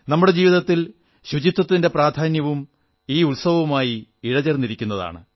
നമ്മുടെ ജീവിതത്തിൽ ശുചിത്വത്തിന്റെ പ്രാധാന്യവും ഈ ഉത്സവവുമായി ഇഴചേർന്നിരിക്കുന്നതാണ്